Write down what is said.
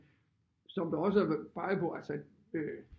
Som du også peger på så øh